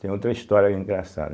Tem outra história engraçada.